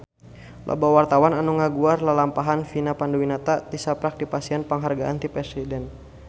Loba wartawan anu ngaguar lalampahan Vina Panduwinata tisaprak dipasihan panghargaan ti Presiden